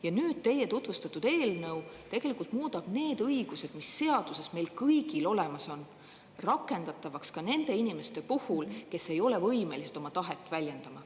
Ja nüüd teie tutvustatud eelnõu tegelikult muudab need õigused, mis seaduses meil kõigil olemas on, rakendatavaks ka nende inimeste puhul, kes ei ole võimelised oma tahet väljendama.